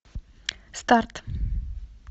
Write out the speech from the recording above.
старт